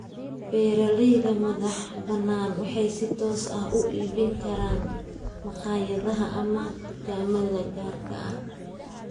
Beeralayda madaxbannaan waxay si toos ah uga iibin karaan makhaayadaha ama dukaamada gaarka ah.